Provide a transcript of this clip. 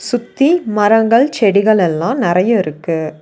சுத்தி மரங்கள் செடிகள் எல்லா நறையா இருக்கு.